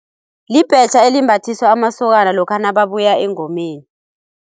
Libetjha elimbathiswa amasokana lokha nababuya engomeni.